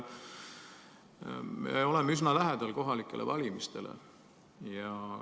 Me oleme üsna lähedal kohalikele valimistele.